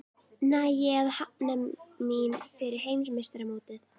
Næ ég að jafna mig fyrir heimsmeistaramótið?